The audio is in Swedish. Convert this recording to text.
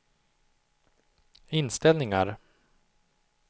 inställningar